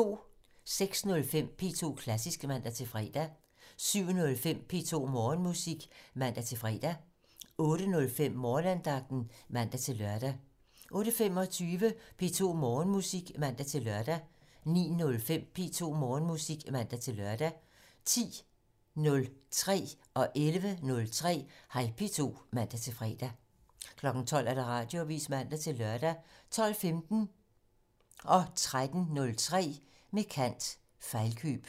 06:05: P2 Klassisk (man-fre) 07:05: P2 Morgenmusik (man-fre) 08:05: Morgenandagten (man-lør) 08:25: P2 Morgenmusik (man-lør) 09:05: P2 Morgenmusik (man-lør) 10:03: Hej P2 (man-fre) 11:03: Hej P2 (man-fre) 12:00: Radioavisen (man-lør) 12:15: Med kant - Fejlkøb 13:03: Med kant - Fejlkøb